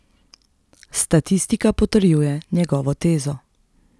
Statistika potrjuje njegovo tezo.